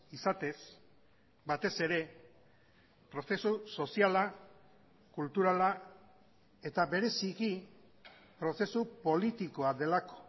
izatez batez ere prozesu soziala kulturala eta bereziki prozesu politikoa delako